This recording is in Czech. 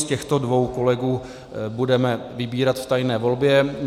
Z těchto dvou kolegů budeme vybírat v tajné volbě.